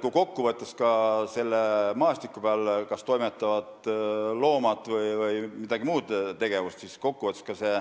Kui aga selle maastiku peal kas toimetavad loomad või toimub mingi muu tegevus, siis kokku võttes see